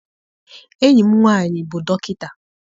Enyi m nwaanyị bụ dọkịta.